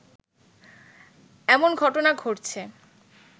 এমন ঘটনা ঘটছে